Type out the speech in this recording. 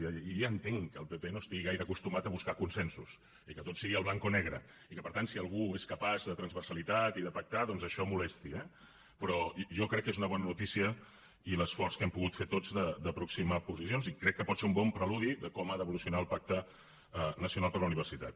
jo ja entenc que el pp no estigui gaire acostumat a buscar consensos i que tot sigui blanc o negre i que per tant si algú és capaç de transversalitat i de pactar doncs això molesti eh però jo crec que és una bona notícia l’esforç que hem pogut fer tots per aproximar posicions i crec que pot ser un bon preludi de com ha d’evolucionar el pacte nacional per a la universitat